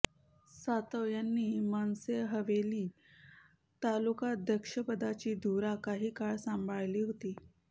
सातव यांनी मनसे हवेली तालुकाध्यक्षपदाची धुरा काही काळ सांभाळली होती